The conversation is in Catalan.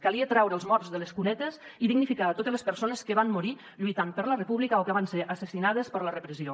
calia traure els morts de les cunetes i dignificar totes les persones que van morir lluitant per la república o que van ser assassinades per la repressió